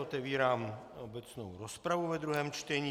Otevírám obecnou rozpravu ve druhém čtení.